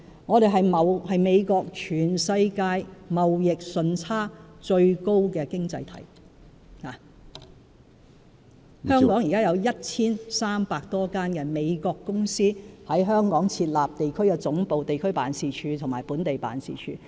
我們是美國全世界貿易順差最高的經濟體，現時有 1,300 多間美國公司在香港設立地區總部、地區辦事處及本地辦事處。